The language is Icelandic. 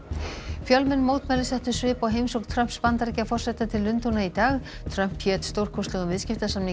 fjölmenn mótmæli settu svip á heimsókn Trumps Bandaríkjaforseta til Lundúna í dag Trump hét stórkostlegum viðskiptasamningi